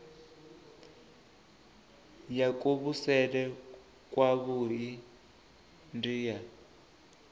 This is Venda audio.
ya kuvhusele kwavhui ndi ya